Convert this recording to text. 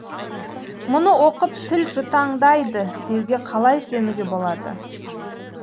мұны оқып тіл жұтаңдайды деуге қалай сенуге болады